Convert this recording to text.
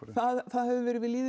það hefur verið við lýði